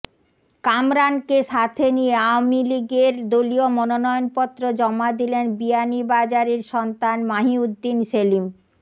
কামরানকে সাথে নিয়ে আওয়ামী লীগের দলীয় মনোয়নপত্র জমা দিলেন বিয়ানীবাজারের সন্তান মাহি উদ্দিন সেলিম